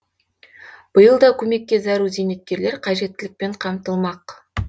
биыл да көмекке зәру зейнеткерлер қажеттілікпен қамтылмақ